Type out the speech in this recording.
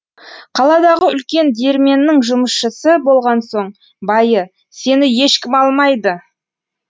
қаладағы үлкен диірменнің жұмысшысы болған соң байы сені ешкім алмайды